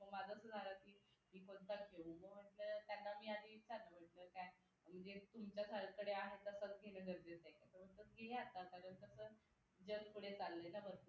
तुमच्या सारखं आहे तसंच घेणं गरजेचं आहे का तर म्हणतात घे आता कारण कसं जग पुढे चालले ना